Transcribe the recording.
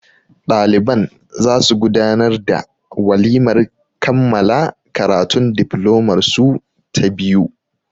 Ɗaliban za su gudanar da walimar kammala karatun diflomar su ta biyu.